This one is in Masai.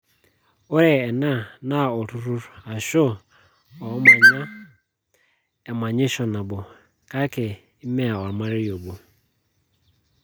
0re ena naa oltururr ashu oomanya emanyisho nabo kake mme ormerei obo.